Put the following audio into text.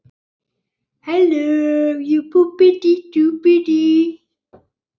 Náman er nú aflögð.